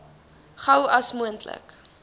gou as moontlik